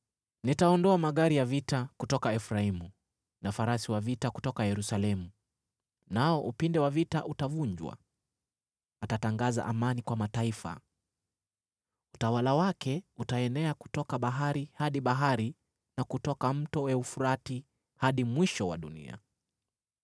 Nitaondoa magari ya vita kutoka Efraimu na farasi wa vita kutoka Yerusalemu, nao upinde wa vita utavunjwa. Atatangaza amani kwa mataifa. Utawala wake utaenea kutoka bahari hadi bahari, na kutoka Mto Frati hadi mwisho wa dunia.